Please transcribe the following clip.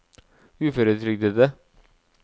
uføretrygdede